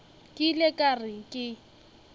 ke ile ka re ke